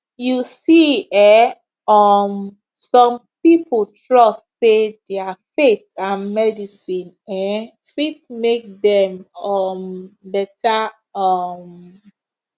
you see um um some people trust say their faith and medicine um fit make dem um better um